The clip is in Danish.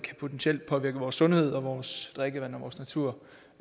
potentielt påvirke vores sundhed og vores drikkevand og vores natur